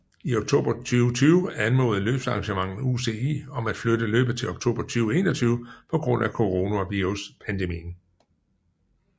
I oktober 2020 anmodede løbsarrangøren UCI om at flytte løbet til oktober 2021 på grund af coronaviruspandemien